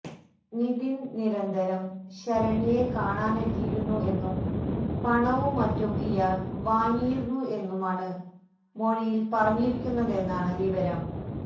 നിധിൻ നിരന്തരം ശരണ്യയെ കാണാനെത്തിയിരുന്നു എന്നും പണവും മറ്റും ഇയാൾ വാങ്ങിയിരുന്നു എന്നുമാണ് മൊഴിയിൽ പറഞ്ഞിരിക്കുന്നതെന്നാണ് വിവരം